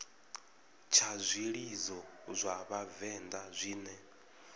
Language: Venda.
tsha zwilidzo zwa vhavenḓa zwine